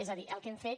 és a dir el que hem fet